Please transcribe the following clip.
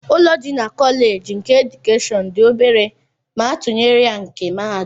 Ụlọ dị na Kọlej nke edukeshọn dị obere ma atụnyere ya na nke mahadum